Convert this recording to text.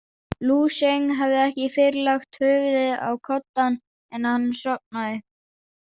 Lú Sjeng hafði ekki fyrr lagt höfuðið á koddann en hann sofnaði.